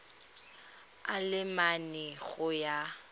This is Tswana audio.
a le mane go ya